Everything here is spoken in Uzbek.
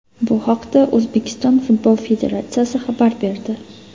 Bu haqda O‘zbekiston futbol federatsiyasi xabar berdi .